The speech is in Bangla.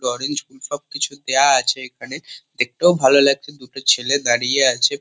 অরেঞ্জ ফুল সবকিছু দেয়া আছে এখানে দেখতেও ভালো লাগছে দুটো ছেলে দাঁড়িয়ে আছে।